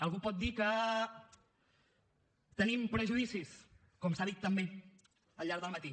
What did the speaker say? algú pot dir que tenim prejudicis com s’ha dit també al llarg del matí